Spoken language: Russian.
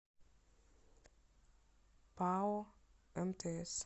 пао мтс